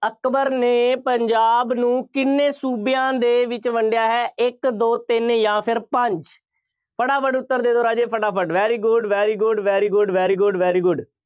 ਅਕਬਰ ਨੇ ਪੰਜਾਬ ਨੂੰ ਕਿੰਨ੍ਹੇ ਸੂਬਿਆਂ ਦੇ ਵਿੱਚ ਵੰਡਿਆ ਹੈ? ਇੱਕ ਦੋ ਤਿੰਨ ਜਾਂ ਫੇਰ ਪੰਜ ਫਟਾਫਟ ਉੱਤਰ ਦੇ ਦਿਓ ਰਾਜੇ ਫਟਾਫਟ very good, very good, very good, very good, very good